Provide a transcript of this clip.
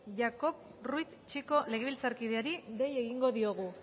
yahcov ruiz chico legebiltzarkideari dei egingo diogu